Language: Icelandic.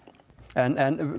en